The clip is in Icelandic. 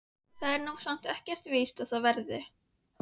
Það er nú samt ekkert víst að það verði.